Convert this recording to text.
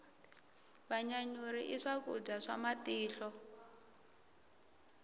vanyanyuri i swakudya swa matihlo